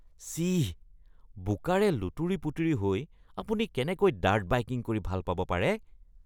চিঃ। বোকাৰে লুতুৰি-পুতুৰি হৈ আপুনি কেনেকৈ ডাৰ্ট বাইকিং কৰি ভাল পাব পাৰে?